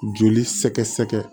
Joli sɛgɛsɛgɛ